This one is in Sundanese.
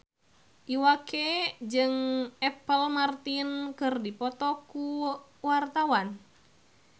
Iwa K jeung Apple Martin keur dipoto ku wartawan